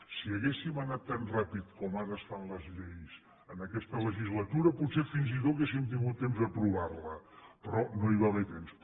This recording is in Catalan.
si haguéssim anat tan ràpid com ara es fan les lleis en aquesta legislatura potser fins i tot hauríem tingut temps d’aprovar la però no hi va haver temps